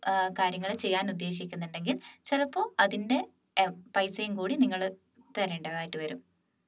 കാര്യങ്ങളെ ചെയ്യാൻ ഉദ്ദേശിക്കുന്നുണ്ടെങ്കിൽ ചിലപ്പോൾ അതിന്റെ ഏർ പൈസയും കൂടി നിങ്ങൾ തരേണ്ടതായിട്ട് വരും